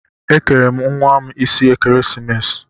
Ekere m nwa m isi ekeresimesi.